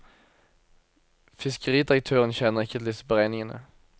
Fiskeridirektøren kjenner ikke til disse beregningene.